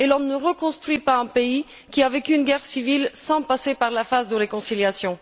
Et l'on ne reconstruit pas un pays qui a vécu une guerre civile sans passer par la phase de réconciliation.